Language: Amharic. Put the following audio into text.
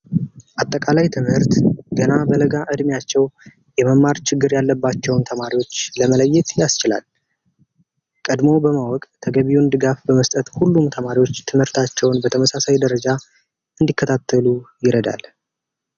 አጠቃላይ ትምህርት ገና በለጋ እድሜያቸው የመማር ችግር ያለባቸውን ተማሪዎች ለመለየት ያስችላል። ቀድሞ በማወቅ ተገቢውን ድጋፍ በመስጠት ሁሉም ተማሪዎች ትምህርታቸውን በተመሳሳይ ደረጃ እንዲከታተሉ ይረዳል።